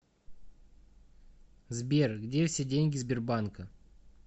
сбер где все деньги сбербанка